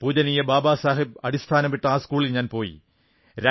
പൂജനീയ ബാബാസാഹബ് അടിസ്ഥാനമിട്ട ആ സ്കൂളിൽ ഞാൻ പോയി